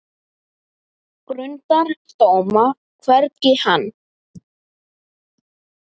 Grundar dóma, hvergi hann